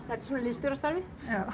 þetta er svona liðsstjórastarfið